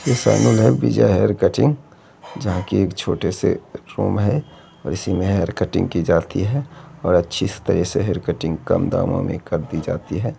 यह सैलून है Vijay hair cutting जहाँ की एक छोटे से रूम है और इसी में हेयर कटिंग की जाती है और अच्छी सी कटिंग कम दामों में कर दी जाती है।